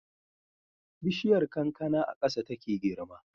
Bishiyar kankana a ƙasa take girma